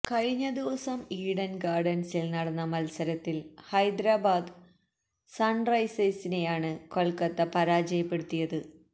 കഴിഞ്ഞ ദിവസം ഈഡൻ ഗാർഡൻസിൽ നടന്ന മത്സരത്തിൽ ഹൈദരാബാദ് സൺറൈസേസിനെയാണ് കൊൽക്കത്ത പരാജയപ്പെടുത്തിയത്